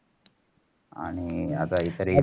आणि, आता इतरी